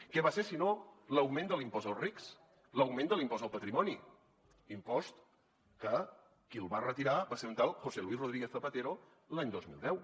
què va ser si no l’augment de l’impost als rics l’augment de l’impost al patrimoni impost que qui el va retirar va ser un tal josé luis rodríguez zapatero l’any dos mil deu